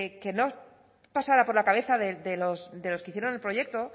que no pasara por la cabeza de los que hicieron el proyecto